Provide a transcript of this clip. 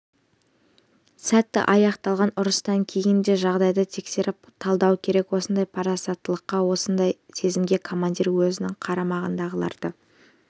сәтті аяқталған ұрыстан кейін де жағдайды тексеріп талдау керек осындай парасаттылыққа осындай сезімге командир өзінің қарамағындағыларды